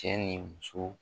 Cɛ ni muso